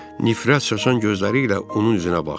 Nifrət saçan gözləri ilə onun üzünə baxdı.